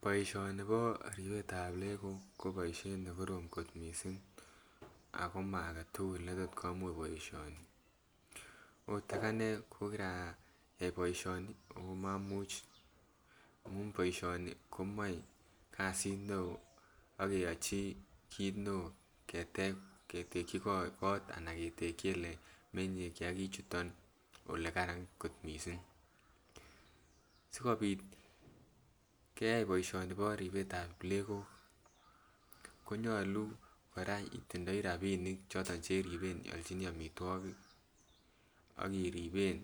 Boisionibo ribetab plegok ko boisiet nekorom kot missing amun ma aketukul netot komuch boisioni okot akanee kokirayai boisioni ako mamuch amun bosioni komoe kasit neoo akeyochi kit neoo ketech ketekyi kot anan ketekyi elemenye kiagik chuton olekaran kot missing, sikobit keyai boisionibo ribetab plegok konyolu kora itindoi rapinik choton cheriben ioljini amitwogik akiriben